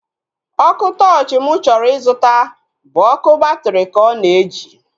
Ọkụ tọọchi mụ chọrọ ịzụta bụ ọkụ batri ka ọ na-eji